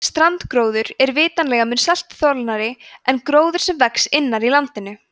strandgróður er vitanlega mun seltuþolnari en gróður sem vex innar í landinu